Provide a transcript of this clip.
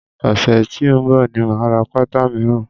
Ọ̀sẹ̀ tí ó ń bọ̀ ni máa ra pátá míràn.